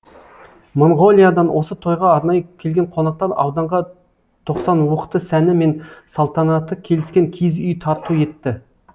моңғолиядан осы тойға арнайы келген қонақтар ауданға тоқсан уықты сәні мен салтанаты келіскен киіз үй тарту етті